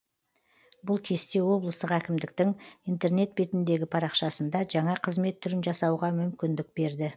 бұл кесте облыстық әкімдіктің интернет бетіндегі парақшасында жаңа қызмет түрін жасауға мүмкіндік берді